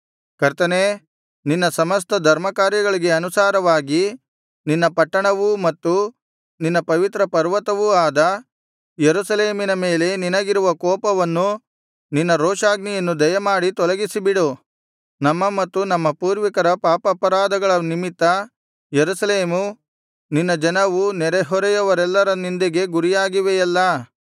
ಕರ್ತನೇ ನಿನ್ನ ಸಮಸ್ತ ಧರ್ಮಕಾರ್ಯಗಳಿಗೆ ಅನುಸಾರವಾಗಿ ನಿನ್ನ ಪಟ್ಟಣವೂ ಮತ್ತು ನಿನ್ನ ಪವಿತ್ರ ಪರ್ವತವೂ ಆದ ಯೆರೂಸಲೇಮಿನ ಮೇಲೆ ನಿನಗಿರುವ ಕೋಪವನ್ನು ನಿನ್ನ ರೋಷಾಗ್ನಿಯನ್ನು ದಯಮಾಡಿ ತೊಲಗಿಸಿಬಿಡು ನಮ್ಮ ಮತ್ತು ನಮ್ಮ ಪೂರ್ವಿಕರ ಪಾಪಾಪರಾಧಗಳ ನಿಮಿತ್ತ ಯೆರೂಸಲೇಮೂ ನಿನ್ನ ಜನವೂ ನೆರೆಹೊರೆಯವರೆಲ್ಲರ ನಿಂದೆಗೆ ಗುರಿಯಾಗಿವೆಯಲ್ಲಾ